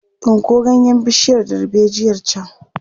Tsinko ganyen bishiyar darbejiyar can!